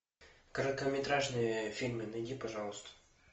короткометражные фильмы найди пожалуйста